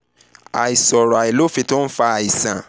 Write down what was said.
àìṣòro àìlófín tó ń fa àisan